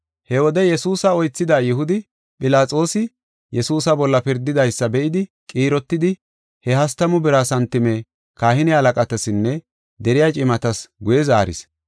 He wode Yesuusa oythida Yihudi, Philaxoosi Yesuusa bolla pirdidaysa be7idi, qiirotidi, he hastamu bira santime kahine halaqatasinne deriya cimatas guye zaaris.